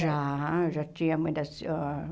Já, já tinha a mãe da senhora.